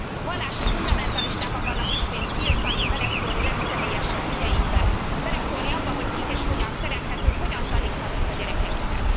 Vallási fundamentalisták akarnak ismét tiltani, beleszólni legszemélyesebb ügyeinkbe, beleszólni abba, hogy kit és hogyan szerethetünk, hogyan taníthatjuk a gyerekeinket.